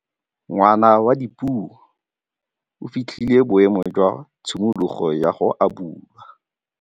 Ngwana wa Dipuo o fitlhile boêmô jwa tshimologô ya go abula.